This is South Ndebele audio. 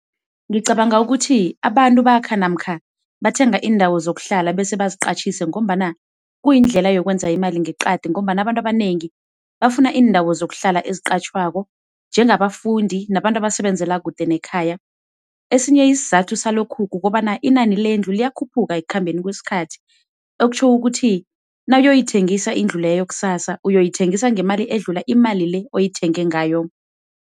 Ngicabanga ukuthi abantu bakha namkha bathenga iindawo zokuhlala bese baziqatjhise ngombana kuyindlela yokwenza imali ngeqadi ngombana abantu abanengi bafuna iindawo zokuhlala eziqatjhwako njengabafundi nabantu abasebenzela kude nekhaya. Esinye isizathu salokhu, kukobana inani lendlu liyakhuphuka ekukhambeni kwesikhathi, okutjho ukuthi nawuyoyithengisa indlu leyo kusasa, uyoyithengisa ngemali edlula-le oyithenge ngayo.